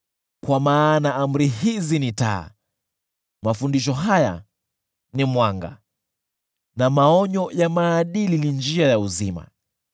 Kwa maana amri hizi ni taa, mafundisho haya ni mwanga na maonyo ya maadili ni njia ya uzima,